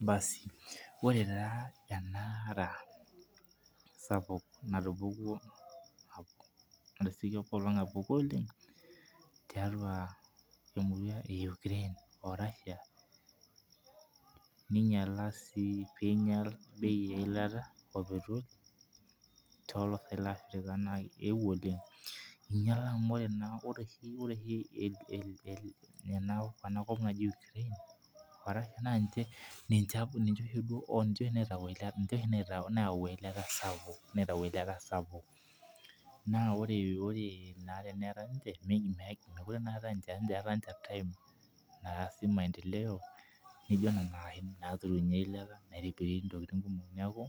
Basi ore taa enara sapuk, natupukuo tiatua emurua e Ukraine o Russia pee neing'ial bei eilata. toolafrika. eingiala amu ore naa ena kop naji Ukraine o Russia naa ninche naitayu eilata sapuk. naa ore teneetae .meeta ninche time, naasi maendeleo. naaturunye eilata, naitibiri ntokitin. neeku